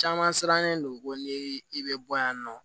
Caman sirannen don ko ni i be bɔ yan nɔ